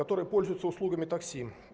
который пользуется услугами такси